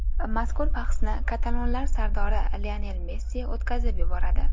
Mazkur bahsni katalonlar sardori Lionel Messi o‘tkazib yuboradi.